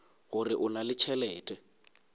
gore o na le tšhelete